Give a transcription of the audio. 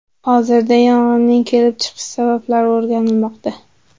Hozirda yong‘inning kelib chiqish sabablari o‘rganilmoqda.